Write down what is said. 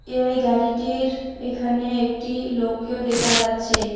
এই গাড়িটির এখানে একটি লোককেও দেখা যাচ্ছে।